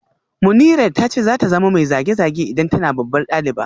Munirat ta ce za ta zama mai zage-zage idan tana babbar daliba